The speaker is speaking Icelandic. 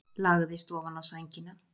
Lagðist ofaná sængina.